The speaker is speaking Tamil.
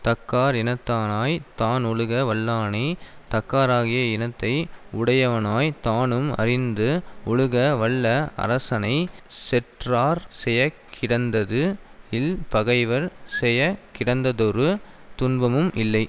தக்கார் இனத்தனாய்த் தான் ஒழுக வல்லானை தக்காராகிய இனத்தை உடையவனாய் தானும் அறிந்து ஒழுக வல்ல அரசனை செற்றார் செயக் கிடந்தது இல் பகைவர் செயக் கிடந்ததொரு துன்பமும் இல்லை